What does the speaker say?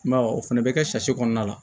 I m'a ye o fɛnɛ bɛ kɛ kɔnɔna la